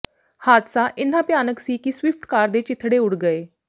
ਹਾਦਸਾ ਇਨ੍ਹਾਂ ਭਿਆਨਕ ਸੀ ਕਿ ਸਵਿਫਟ ਕਾਰ ਦੇ ਚੀਥੜੇ ਉੱਡ ਗਏ